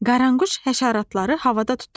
Qaranquş həşəratları havada tutur.